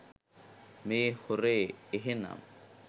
මේ හොරේ එහෙනම්.